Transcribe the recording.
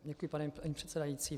Děkuji, paní předsedající.